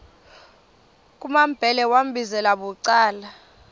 kumambhele wambizela bucala